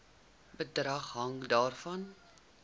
bedrag hang daarvan